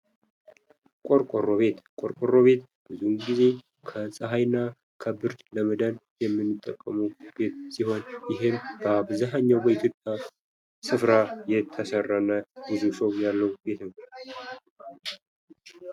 ቆርቆሮ ቤት ፦ ቆርቆሮ ቤት ብዙውን ጊዜ ከፀሐይ እና ከብርድ ለመዳን የሚጠቅሙ ቤቶች ሲሆኑ ይህም በአብዛኛው በኢትዮጵያ ስፍራ የተሰራ እና ያለው ቤት ነው ።